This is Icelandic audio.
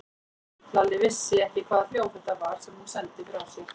Lalli vissi ekki hvaða hljóð þetta var sem hún sendi frá sér.